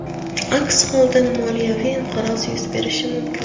Aks holda moliyaviy inqiroz yuz berishi mumkin.